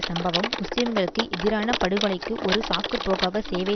சம்பவம் முஸ்லீம்களுக்கு எதிரான படுகொலைக்கு ஒரு சாக்கு போக்காக சேவை